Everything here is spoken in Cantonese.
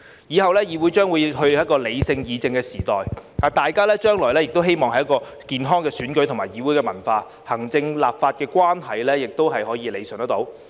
以後議會將進入理性議政的時代，大家將迎來健康的選舉和議會文化，行政立法關係可得到理順。